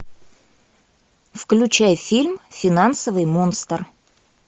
включай фильм финансовый монстр